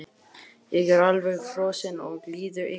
Ég er alveg frosinn og líður illa.